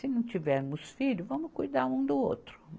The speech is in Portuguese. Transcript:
Se não tivermos filho, vamos cuidar um do outro.